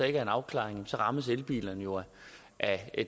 ikke er en afklaring rammes elbilerne jo af